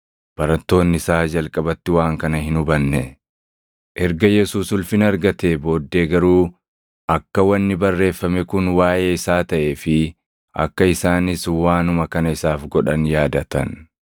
Barattoonni isaa jalqabatti waan kana hin hubanne. Erga Yesuus ulfina argatee booddee garuu akka wanni barreeffame kun waaʼee isaa taʼee fi akka isaanis waanuma kana isaaf godhan yaadatan.